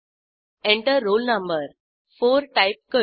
Enter roll no 4 type करू